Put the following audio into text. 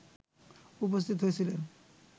উপস্থিত হয়েছিলেন